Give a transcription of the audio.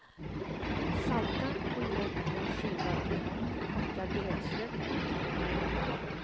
Salta och lägg på skivad tomat, hackad gräslök och en klick margarin.